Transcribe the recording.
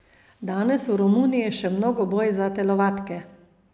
Danes je v Romuniji še mnogoboj za telovadke.